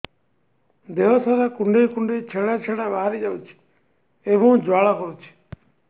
ଦେହ ସାରା କୁଣ୍ଡେଇ କୁଣ୍ଡେଇ ଛେଡ଼ା ଛେଡ଼ା ବାହାରି ଯାଉଛି ଏବଂ ଜ୍ୱାଳା କରୁଛି